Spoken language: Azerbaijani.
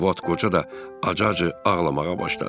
O vaxt qoca da acı-acı ağlamağa başladı.